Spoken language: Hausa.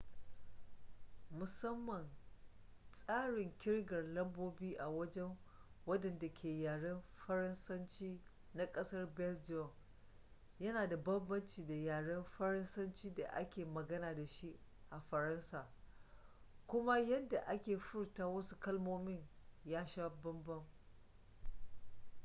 musamman tsarin kirgar lambobi a wajen wadanda ke yaren faransanci na kasar belgium ya na da banbanci da yaren faransanci da ake magana da shi a faransa, kuma yadda ake furta wasu kalmomin ya sha bambam